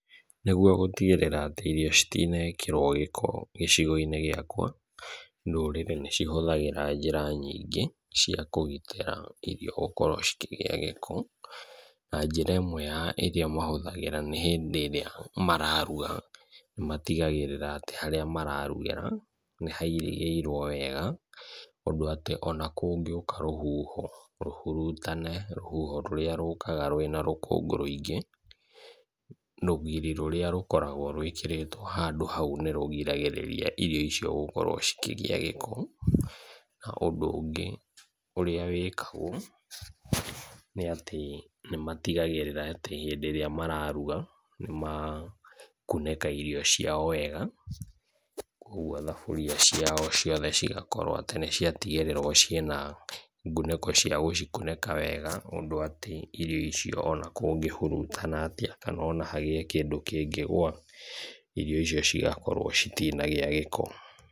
Nĩguo gũtigĩrĩra atĩ irio citinekĩrwo gĩko gĩcigo-inĩ gĩakwa, ndũrĩrĩ nĩ cihũthagĩra njĩra nyingĩ cia kũgitĩra irio gũkorwo cikĩgĩa gĩko, na njĩra ĩmwe ya iria mahũthagĩra nĩ hĩndĩ ĩrĩa mararuga, nĩ matigagĩrĩra atĩ harĩa mararugĩra nĩ hairigĩirwo wega, ũndũ atĩ ona kũngĩũka rũhuho, rũhurutane, rũhuho rũrĩa rũkaga rwĩna rũkũngũ rũingĩ, rũgiri rũrĩa rũkoragwo rwĩkĩrĩtwo handũ hau nĩ rũgiragĩrĩria irio icio gũkorwo cikĩgĩa gĩko, na ũndũ ũngĩ ũrĩa wĩkagwo, nĩ atĩ nĩ matigagĩrĩra atĩ hĩndĩ ĩrĩa mararuga, nĩ makunĩka irio ciao wega, koguo thaburia ciao ciothe cigakorwo atĩ nĩ ciatigĩrĩrwo ciĩna ngunĩko cia gũcikunĩka wega, ũndũ atĩ irio icio ona kũngĩhurutana atĩa kana ona hagĩe kĩndũ kĩngĩgũa, irio icio cigakorwo citinagĩa gĩko.